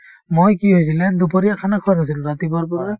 মই কি হৈছিলে দুপৰীয়া khana খোৱা নাছিলো ৰাতিপুৱাৰ পৰা